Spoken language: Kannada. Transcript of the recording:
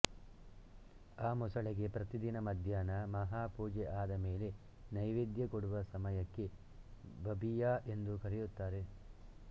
ಆ ಮೊಸಳೆಗೆ ಪ್ರತಿದಿನ ಮದ್ಯಾಹ್ನ ಮಹಾಪೂಜೆ ಆದ ಮೇಲೆ ನೈವೇದ್ಯ ಕೊಡುವ ಸಮಯಕ್ಕೆ ಬಬಿಯಾ ಎಂದು ಕರೆಯುತ್ತಾರೆ